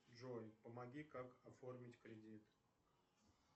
джой помоги как оформить кредит